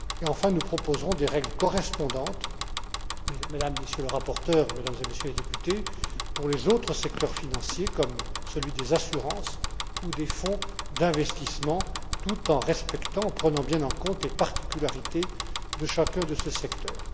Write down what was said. Et, enfin, nous proposerons des règles correspondantes, Mesdames, Messieurs les rapporteurs, Mesdames, Messieurs les députés, pour les autres secteurs financiers, comme celui des assurances ou des fonds d'investissement, tout en respectant, en prenant bien en compte les particularités de chacun de ces secteurs.